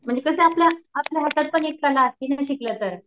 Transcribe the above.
नंतर ते आपल्या आपल्या हातात पूर्ण शिकलं तर.